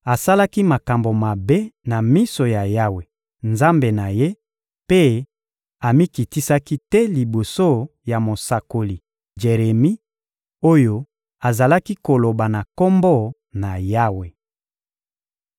Asalaki makambo mabe na miso ya Yawe, Nzambe na ye, mpe amikitisaki te liboso ya mosakoli Jeremi oyo azalaki koloba na Kombo na Yawe.